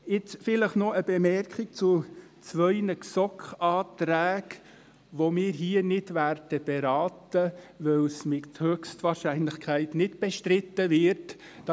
Jetzt noch eine Bemerkung zu zwei GSoK-Anträgen, die wir hier nicht beraten werden, weil sie höchstwahrscheinlich nicht bestritten werden;